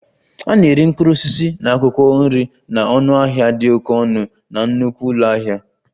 A na-ere mkpụrụ osisi na akwụkwọ nri na ọnụahịa dị oke ọnụ na nnukwu ụlọ ahịa